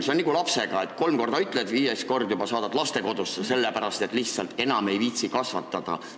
See on nagu lapsega, et kolm korda ütled, aga viiendal korral saadad juba lastekodusse, sest lihtsalt enam ei viitsi kasvatada.